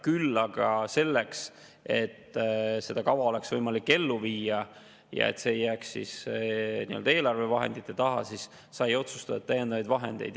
Küll aga selleks, et seda kava oleks võimalik ellu viia ja et see ei jääks nii-öelda eelarvevahendite taha, sai otsustatud täiendavaid vahendeid.